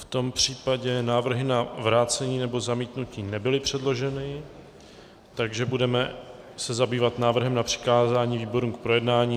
V tom případě návrhy na vrácení nebo zamítnutí nebyly předloženy, takže se budeme zabývat návrhem na přikázání výborům k projednání.